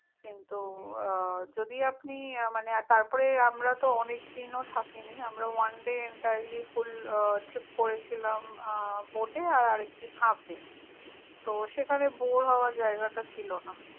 কিন্তু, যদি আপন আহ মানে, আর তারপরে, আমরা তো অনেক দিন ও থাকিনি, আমরা তো one dayentirelly full trip করেছিলাম, bote এ আর আরেকদিন half day । তো সেখানে bore হবার জায়গাটা ছিলনা।